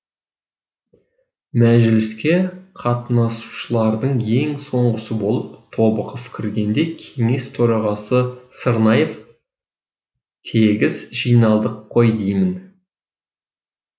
мәжіліске қатынасушылардың ең соңғысы болып тобықов кіргенде кеңес төрағасы сырнаев тегіс жиналдық қой деймін